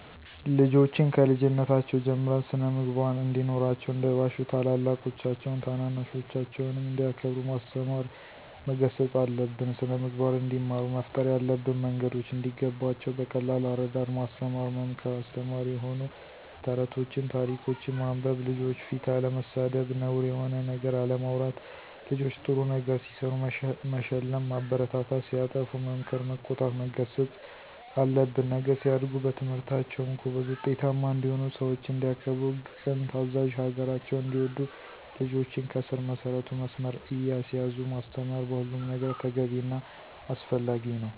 ልጆችን ከልጅነታቸው ጀምረን ስን-ምግባር እንዲኖራቸው እንዳይዋሹ ታላላቆቻቸውን ታናናሾቻቸውንም እንዲያከብሩ ማስተማር መገሰፅ አለብን። ስነምግባር እንዲማሩ መፍጠር ያለብን መንገዶች እንዲገባቸው በቀላል አረዳድ ማስተማር መምከር አስተማሪ የሆኑ ተረቶችን ታሪኮችን ማንበብ፣ ልጆች ፊት አለመሳደብ፣ ነውር የሆነ ነገር አለማውራት ልጆች ጥሩ ነገር ሲሰሩ መሸለም ማበረታታት ሲያጠፉ መምከር መቆጣት መገሰፅ አለብን። ነገ ሲያድጉ በትምህርታቸውም ጎበዝ ውጤታማ እንዲሆኑ፣ ሰውችን እንዲያከብሩ፦ ቅን ታዛዥ፣ ሀገራቸውን እንዲወዱ ልጆችን ከስር መሰረቱ መስመር እያሳዙ ማስተማር በሁሉም ነገር ተገቢ እና አስፈላጊ ነው።